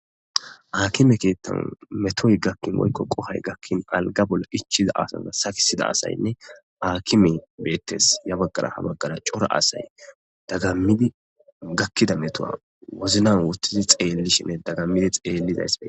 akime keettan metoy gakkin woykko qohoy gakkin alga bolla ichiza asaza sakisida asaynne akime beettes ya baggara ha baggara cora asay dagammidi gakkida metowa woznan wuttidi xeellishinne dagammidi xeellizaysbee